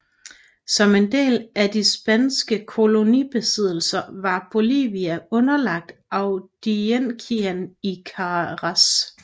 Som en del af de spanske kolonibesiddelser var Bolivia underlagt audienciaen i Charcas